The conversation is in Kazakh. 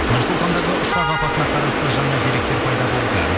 нұр сұлтандағы ұшақ апатына қарасты жаңа деректер пайда болды